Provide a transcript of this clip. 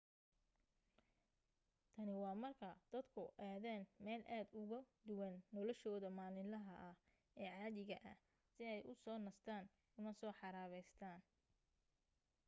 tani waa marka dadku aadaan meel aad ugu duwan noloshooda maalinlaha ah ee caadiga ah si ay u soo nastaan una soo xaraabaystaan